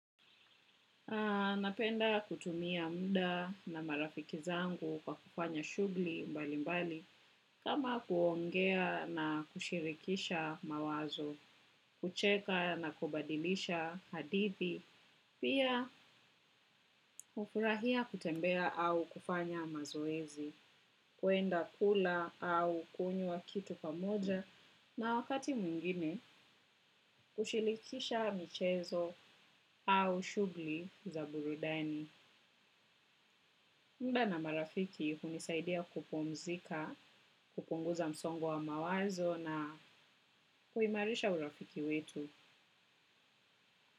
Napenda kutumia muda na marafiki zangu kwa kufanya shughuli mbali mbali kama kuongea na kushirikisha mawazo, kucheka na kubadilisha hadithi, pia hufurahia kutembea au kufanya mazoezi, kuenda kula au kunyua kitu pamoja na wakati mwingine kushirikisha michezo au shughuli za burudani. Muda na marafiki unisaidia kupumzika, kupunguza msongo wa mawazo na kuimarisha urafiki wetu.